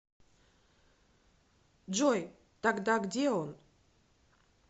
джой тогда где он